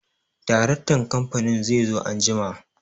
Daraktan kamfanin zai zo anjima.